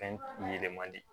Fɛn yɛlɛma di